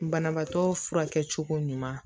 Banabaatɔ furakɛ cogo ɲuman